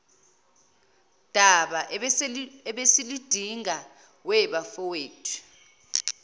daba ebesiludingida webafowethu